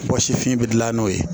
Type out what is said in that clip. Bɔ sifin bɛ dilan n'o ye